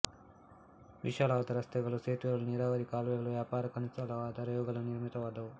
ವಿಶಾಲವಾದ ರಸ್ತೆಗಳು ಸೇತುವೆಗಳು ನೀರಾವರಿ ಕಾಲುವೆಗಳು ವ್ಯಾಪಾರಕ್ಕನುಕೂಲವಾದ ರೇವುಗಳು ನಿರ್ಮಿತವಾದವು